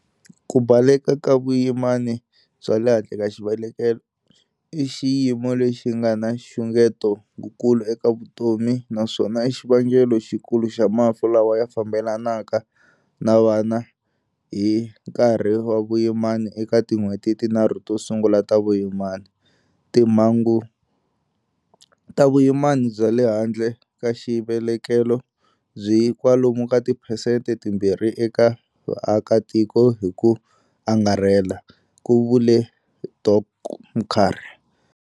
Ku baleka ka vuyimani bya le handle ka xivelekelo i xiyimo lexi nga na xungeto wukulu eka vutomi naswona i xivangelo xikulu xa mafu lawa ya fambelanaka na vana hi nkarhi wa vuyimani eka tin'hweti tinharhu to sungula ta vuyimani. Timhangu ta vuyimani bya le handle ka xivelekelo byi kwalomu ka tiphensete timbirhi eka vaakatiko hi ku angarhela, ku vule Dok Mkhari.